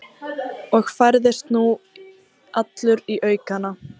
Og færðist nú allur í aukana.